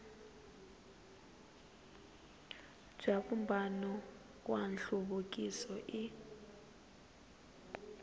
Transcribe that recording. bya vumbano wa nhluvukiso i